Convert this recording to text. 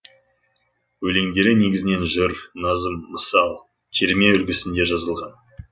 өлеңдері негізінен жыр назым мысал терме үлгісінде жазылған